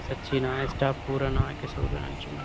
सच्ची ना है स्टाफ पूरा ना है किसी भी ब्रांच में।